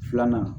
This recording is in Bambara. Filanan